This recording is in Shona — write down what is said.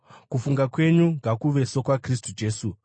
Kufunga kwenyu ngakuve sokwaKristu Jesu: